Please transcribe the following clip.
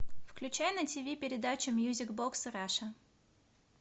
включай на тв передачу мьюзик бокс раша